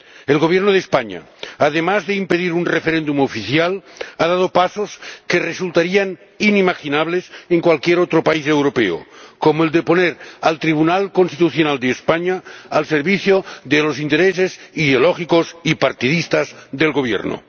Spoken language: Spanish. El Gobierno de España, además de impedir un referéndum oficial, ha dado pasos que resultarían inimaginables en cualquier otro país europeo, como el de poner al Tribunal Constitucional de España al servicio de los intereses ideológicos y partidistas del Gobierno.